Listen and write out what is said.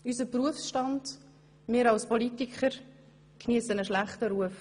Unser Berufsstand, wir, als Politikerinnen und Politiker, haben einen schlechten Ruf.